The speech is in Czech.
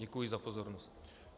Děkuji za pozornost.